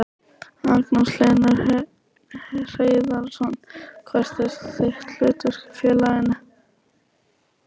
Magnús Hlynur Hreiðarsson: Hvert er þitt hlutverk í félaginu?